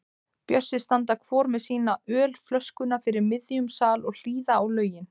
Bjössi standa hvor með sína ölflöskuna fyrir miðjum sal og hlýða á lögin.